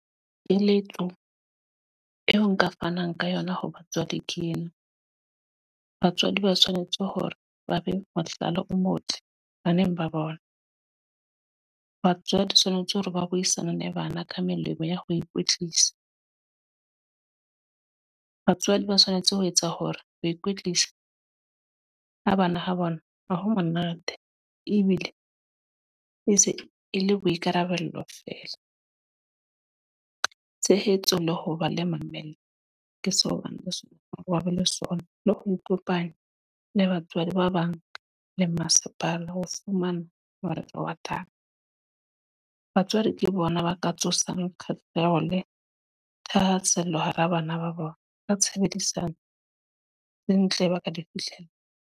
Keletso eo nka fanang ka yona ho batswadi ke ena, batswadi ba tshwanetse hore ba be mohlala o motle baneng ba bona. Batswadi tshwanetse hore ba buisane le bana ka melemo ya ho ikwetlisa. Batswadi ba tshwanetse ho etsa hore ho ikwetlisa ha bana ho bona ha ho monate. Ebile e se e le boikarabelo fela. Tshehetso le ho ba le mamello, ke so bane le sona, le ho ikopanya le batswadi ba bang le masepala, ho fumana molaetsa wa taba. Batswadi ke bona ba ka tsosang khahleho le thahasello hara bana ba bona. Ka tshebedisano le ntle ba ka di fihlela.